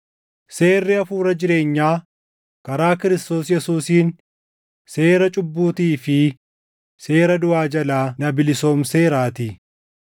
seerri Hafuura jireenyaa karaa Kiristoos Yesuusiin seera cubbuutii fi seera duʼaa jalaa na bilisoomseeraatii.